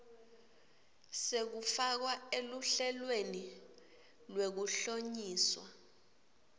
sekufakwa eluhlelweni lwekuhlonyiswa